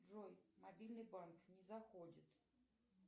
джой мобильный банк не заходит